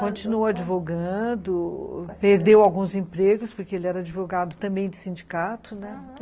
Continuou advogando, perdeu alguns empregos, porque ele era advogado também de sindicato, né? Aham.